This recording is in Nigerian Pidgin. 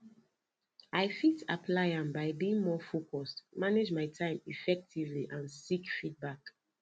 i fit apply am by being more focused manage my time effectively and seek feedback